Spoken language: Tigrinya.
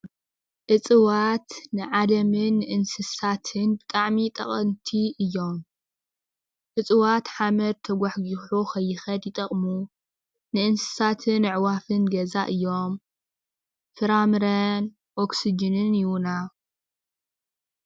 እፅዋት ንዓለምን ንእንስሳታትን ብጣዕሚ ጠቀምቲ እዮም፡፡ እፅዋት ሓመድ ተጓሕጉሑ ንከይከድ ይጠቅሙ፡፡ ንእንስሳታትን ኣዕዋፋትን ገዛ እዮም፡፡ ፍራምረን ኦክስጅንን ይህቡና፡፡